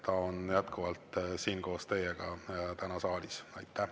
Ta on jätkuvalt koos teiega täna siin saalis.